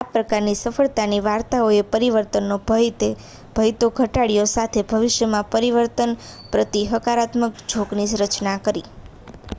આ પ્રકારની સફળતાની વાર્તાઓએ પરિવર્તનનો ભય તો ઘટાડ્યો સાથે ભવિષ્યમાં પરિવર્તન પ્રતિ હકારાત્મક ઝોકની રચના કરી